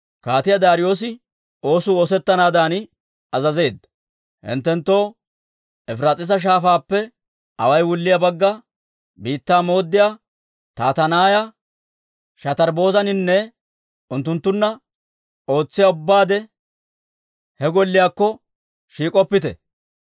«Hinttenttoo Efiraas'iisa Shaafaappe awaay wulliyaa Bagga Biittaa mooddiyaa Tattanaaya, Shatarbbozinaanne unttunttunna ootsiyaa ubbaade, he Golliyaakko shiik'oppite.